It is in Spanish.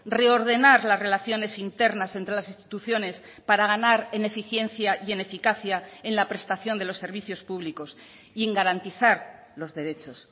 reordenar las relaciones internas entre las instituciones para ganar en eficiencia y en eficacia en la prestación de los servicios públicos y en garantizar los derechos